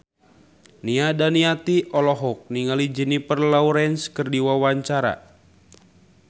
Nia Daniati olohok ningali Jennifer Lawrence keur diwawancara